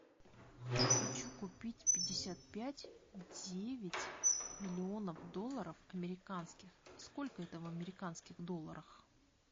хочу купить пятьдесят пять девять миллионов долларов американских сколько это в американских долларах